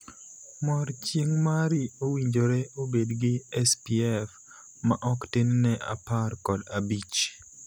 Mor chieng' mari owinjore obedgi 'SPF', ma ok tin ne apar kod abich (15).